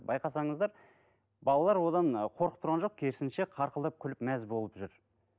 байқасаңыздар балалар одан ы қорқып тұрған жоқ керісінше қарқылдап күліп мәз болып жүр